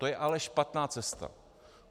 To je ale špatná cesta.